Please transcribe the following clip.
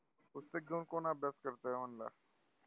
पुस्तक घेऊन कोण अभ्यास करतंय म्हंटलं?